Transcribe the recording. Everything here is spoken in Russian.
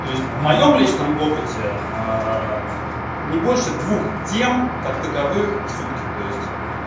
то есть в моем личном опыте не больше двух тем как таковых в сутки то есть